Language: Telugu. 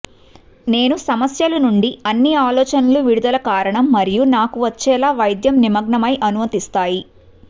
నేను సమస్యలు నుండి అన్ని ఆలోచనలు విడుదల కారణం మరియు నాకు వచ్చేలా వైద్యం నిమగ్నమై అనుమతిస్తాయి